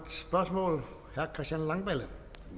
herre christian langballe